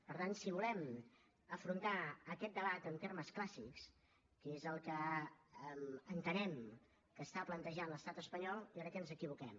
per tant si volem afrontar aquest debat en termes clàssics que és el que entenem que està plantejant l’estat espanyol jo crec que ens equivoquem